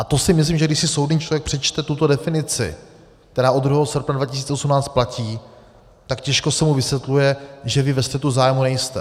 A to si myslím, že když si soudný člověk přečte tuto definici, která od 2. srpna 2018 platí, tak těžko se mu vysvětluje, že vy ve střetu zájmů nejste.